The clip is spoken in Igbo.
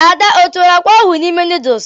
Ada ọ tiwara akwa ahụ n'ime nuduls?